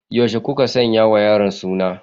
Yaushe kuka sanya wa yaron suna?